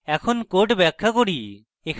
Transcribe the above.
এখন code ব্যাখ্যা করি